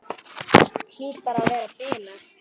Hlýt bara að vera að bilast.